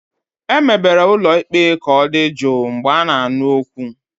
Emebere ụlọ ikpe ka ọ dị jụụ mgbe a na-anụ okwu.